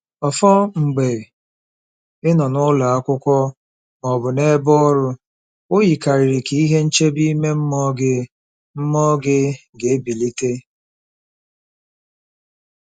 Ọfọn, mgbe ị nọ n'ụlọ akwụkwọ ma ọ bụ n'ebe ọrụ, o yikarịrị ka ihe nchebe ime mmụọ gị mmụọ gị ga-ebilite.